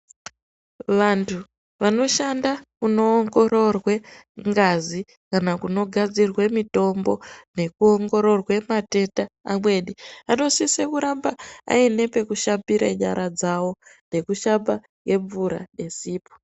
Vantu vanoshanda kuno ongororwe ngazi kana kuno gadzirwe mitombo neku ongororwe matenda amweni anosise kuramba aine peku shambire nyara dzavo neku shamba ne mvura ne sipo.